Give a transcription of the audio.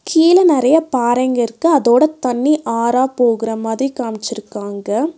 கீழ நெறைய பாறைங்கிருக்கு அதோட தண்ணி ஆறா போகுற மாதிரி காம்ச்சிருக்காங்க.